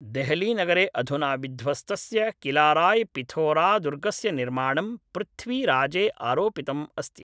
देहलीनगरे अधुना विध्वस्तस्य किलाराय् पिथोरादुर्गस्य निर्माणं पृथ्वीराजे आरोपितम् अस्ति